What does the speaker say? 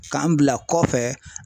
K'an bila kɔfɛ